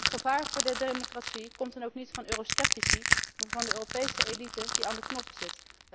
Het gevaar voor de democratie komt dan ook niet van eurosceptici, maar van de Europese elite die aan de knop zit.